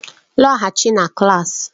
Lọghachi na klaasị!